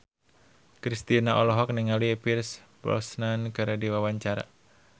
Kristina olohok ningali Pierce Brosnan keur diwawancara